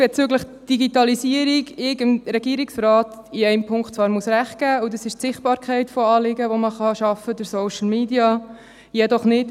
Bezüglich der Digitalisierung bedeutet das, dass ich dem Regierungsrat in einem Punkt recht geben muss, und zwar bezüglich der Sichtbarkeit von Anliegen, die man durch Social Media schaffen kann.